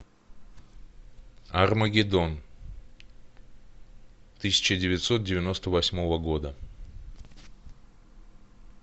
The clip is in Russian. армагеддон тысяча девятьсот девяносто восьмого года